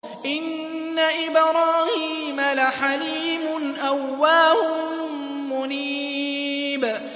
إِنَّ إِبْرَاهِيمَ لَحَلِيمٌ أَوَّاهٌ مُّنِيبٌ